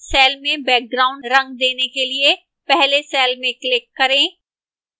cell में background रंग देने के लिए पहले cell में click करें